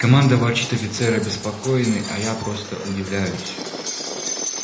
команда ворчит офицеры обеспокоены а я просто удивляюсь